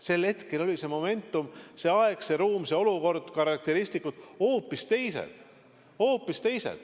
Sel hetkel olid moment, aeg, ruum, olukord, karakteristikud hoopis teised.